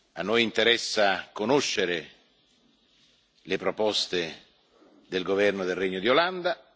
A noi interessa conoscere le proposte del governo del Regno di Olanda.